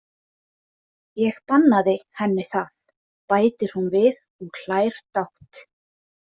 Ég bannaði henni það, bætir hún við og hlær dátt.